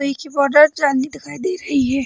एक हि border trainee दिखाई दे रही है।